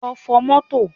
Lọ fọ̀ mọ́tò